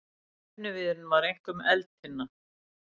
Efniviðurinn var einkum eldtinna.